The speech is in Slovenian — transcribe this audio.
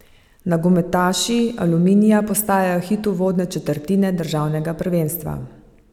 Nogometaši Aluminija postajajo hit uvodne četrtine državnega prvenstva.